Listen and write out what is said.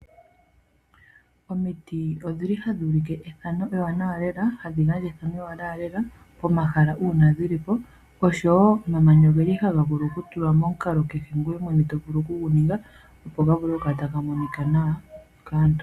Omiti odhili hadhi ulike ethano ewanawa lela, hadhi gandja ethano ewaanawa lela pomahala uuna dhilipo, osho wo omamanya ogeli haga vulu kutulwa momukalo kehe ngoye mwene tovulu okuguninga opo gavule okukala taga monika nawa kaantu.